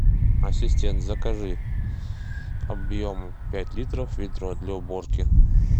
ассистент закажи объемом пять литров ведро для уборки